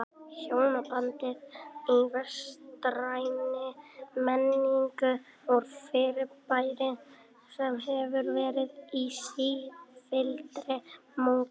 Hjónabandið í vestrænni menningu er fyrirbæri sem hefur verið í sífelldri mótun.